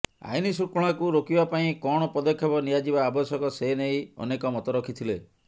ଆଇନଶୃଙ୍ଖଳାକୁ ରୋକିବା ପାଇଁ କଣ ପଦକ୍ଷେପ ନିଆଯିବା ଆବଶ୍ୟକ ସେ ନେଇ ଅନେକ ମତ ରଖିଥିଲେ